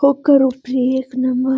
ओकर आठुली एक नंबर --